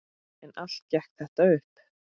En allt gekk þetta upp.